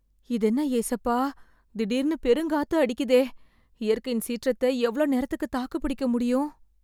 இதென்ன ஏசப்பா... திடீர்னு பெருங்காத்து அடிக்குதே... இயற்கையின் சீற்றத்த எவ்ளோ நேரத்துக்கு தாக்குப்பிடிக்க முடியும்..